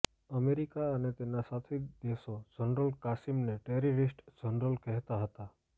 America અને તેના સાથી દેશો જનરલ કાસિમને ટેરરિસ્ટ જનરલ કહેતા હતા